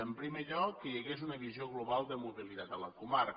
en primer lloc que hi hagués una visió global de mobilitat a la comarca